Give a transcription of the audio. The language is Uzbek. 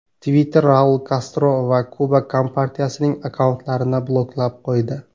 Twitter Raul Kastro va Kuba Kompartiyasining akkauntlarini bloklab qo‘ydi.